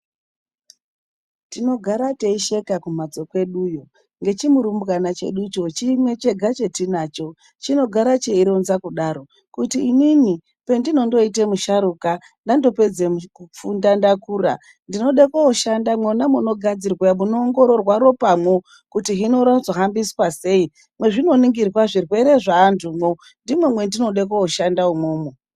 Tinogara teisheka kumhatso kweduyo ngechimurumbwana cheducho chimwe chega chatinancho chinogara cheironza kudaro, kuti inini pendinondoite musharuka ndandopedze kufunda ndakura, ndinode kooshanda mwona munoongororwa ropamwo kuti hino rinozohambiswa sei mwezvinoningirwa zvirwere zveantu ndimwo mwandinode kooshanda umwomwo.